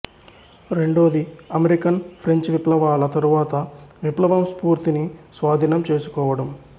రెండోది American French విప్లవాల తరువాత విప్లవం స్ఫూర్తిని స్వాధీనం చేసుకోవడం